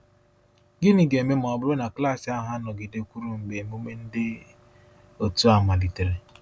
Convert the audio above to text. Gịnị ga-eme ma ọ bụrụ na klaasị ahụ anọgidekwuru mgbe emume dị otu a malitere?